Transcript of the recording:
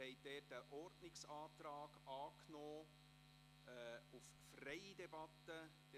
Sie haben dazu einen Ordnungsantrag auf eine freie Debatte angenommen.